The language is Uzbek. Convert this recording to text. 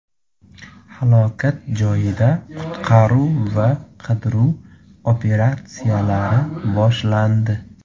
Halokat joyida qutqaruv va qidiruv operatsiyalari boshlandi.